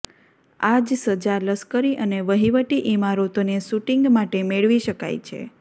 આ જ સજા લશ્કરી અને વહીવટી ઇમારતોને શૂટિંગ માટે મેળવી શકાય છે